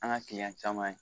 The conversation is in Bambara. An ka caman ye